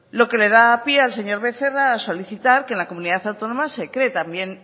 lo que le da pie al señor becerra a solicitar que en la comunidad autónoma se cree también